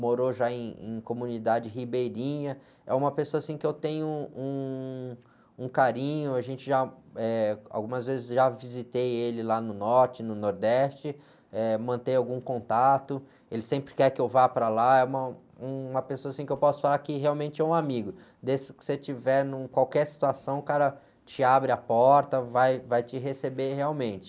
morou já em, em comunidade ribeirinha, é uma pessoa, assim, que eu tenho um, um carinho, a gente já, eh, algumas vezes já visitei ele lá no norte, no nordeste, eh, mantenho algum contato, ele sempre quer que eu vá para lá, é uma, um, uma pessoa que eu posso falar que realmente é um amigo, desses que se você estiver em qualquer situação, o cara te abre a porta, vai, vai te receber realmente.